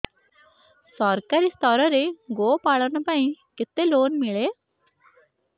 ସରକାରୀ ସ୍ତରରେ ଗୋ ପାଳନ ପାଇଁ କେତେ ଲୋନ୍ ମିଳେ